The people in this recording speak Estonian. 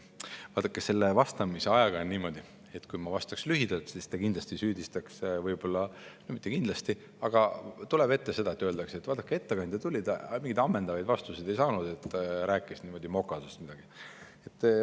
Vaadake, selle vastamise ajaga on niimoodi, et kui ma vastaksin lühidalt, siis te kindlasti süüdistaksite mind – võib-olla, mitte tingimata – selles, et ettekandja tuli siia, aga mingeid ammendavaid vastuseid temalt ei saanud, ta rääkis ainult mokaotsast midagi.